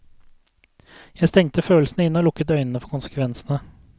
Jeg stengte følelsene inne og lukket øynene for konsekvensene.